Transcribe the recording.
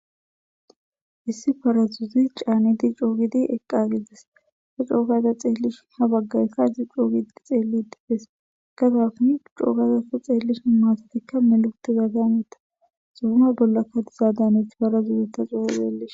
issi farazuzi caanidi coogidi eqqagedes fa coogaza xeellish ha baggaykka hissi coogidi xeeli dibfees kazafuni coogaza ta xeellish maatatikka meluguti zaadameta xubuma bollakka dizaadamet parazuuze ta coo xeellis